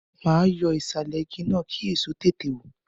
Ma yọ ìsàlẹ̀ igi náà, kí èso tètè wù.